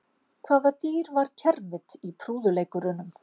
Hvaða dýr var kermit í prúðuleikurunum?